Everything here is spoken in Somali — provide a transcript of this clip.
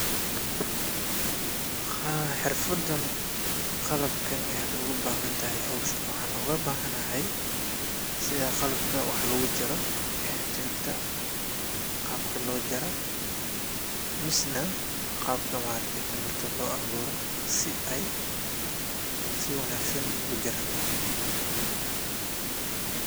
Xerfadan qalabkan ayad ugu bahantahy howshan waxan ogabahanahay sida qalbka wax lagujaro e timirta qabka lojara misna qabka timirta lo abuuro si ay si wanagsan igu jaranta.